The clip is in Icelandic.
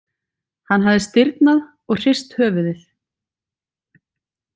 Hann hafði stirðnað og hrist höfuðið.